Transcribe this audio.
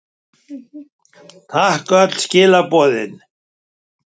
Takk fyrir öll skilaboðin.